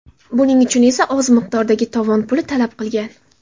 Buning uchun esa oz miqdordagi tovon puli talab qilgan.